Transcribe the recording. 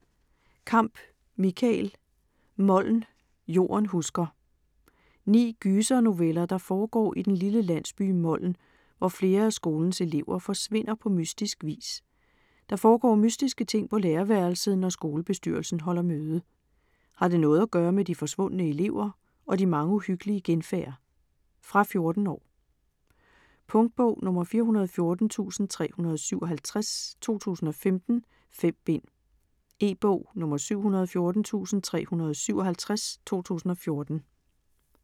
Kamp, Michael: Moln - jorden husker Ni gysernoveller, der foregår i den lille landsby Moln, hvor flere af skolens elever forsvinder på mystisk vis. Der foregår mystiske ting på lærerværelset, når skolebestyrelsen holder møde. Har det noget at gøre med de forsvundne elever og de mange uhyggelige genfærd? Fra 14 år. Punktbog 414357 2015. 5 bind. E-bog 714357 2014.